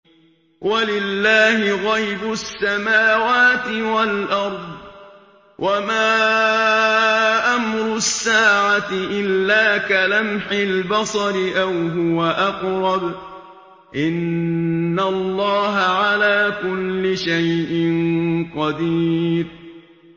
وَلِلَّهِ غَيْبُ السَّمَاوَاتِ وَالْأَرْضِ ۚ وَمَا أَمْرُ السَّاعَةِ إِلَّا كَلَمْحِ الْبَصَرِ أَوْ هُوَ أَقْرَبُ ۚ إِنَّ اللَّهَ عَلَىٰ كُلِّ شَيْءٍ قَدِيرٌ